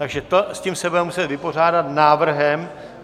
Takže s tím se budeme muset vypořádat návrhem.